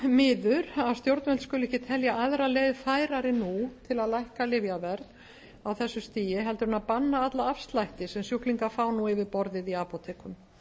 miður að stjórnvöld skuli ekki telja aðra leið færari nú til að lækka lyfjaverð á þessu stigi heldur en að banna alla afslætti sem sjúklingar fá nú yfir borðið í apótekum